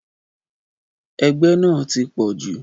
Ẹgbẹ́ náà ti pọ̀ jù.